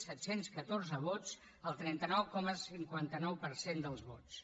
set cents i catorze vots el trenta nou coma cinquanta nou per cent dels vots